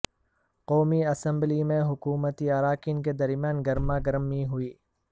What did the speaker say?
قومی اسمبلی میں حکومتی اراکین کے درمیان گرما گرمی ہوئی